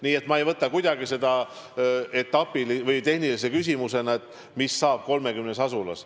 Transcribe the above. Nii et ma ei võta kuidagi tehnilise küsimusena seda, mis hakkab saama 30 asulas.